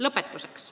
Lõpetuseks.